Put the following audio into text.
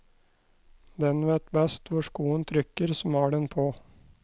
Den vet best hvor skoen trykker som har den på.